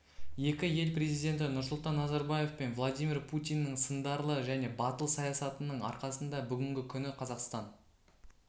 екі ел президенті нұрсұлтан назарбаев пен владимир путиннің сындарлы және батыл саясатының арқасында бүгінгі күні қазақстан